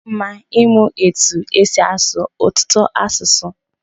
O mma ịmụ etu esi asụ ọtụtụ asụsụ.